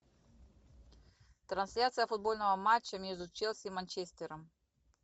трансляция футбольного матча между челси и манчестером